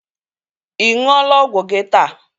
Ị ṅụọla ọgwụ gị taa?